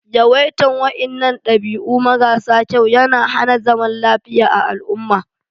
Yawaitan wainnan dabi'u mara sa kyau ya na hana zaman lafiya a al'umma.